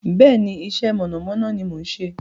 Bẹ́ẹ̀ni, iṣẹ́ mọ̀nàmọ́ná ni mò ń ṣe.